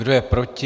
Kdo je proti?